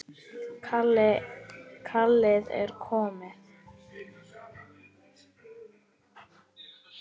Kallið er komið.